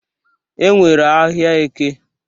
E nwere ahịa Eke.